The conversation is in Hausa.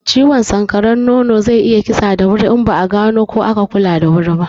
Ciwon sanƙaran nono zai iya kisa cikin sauki in ba a gano kuma aka kula da wuri ba.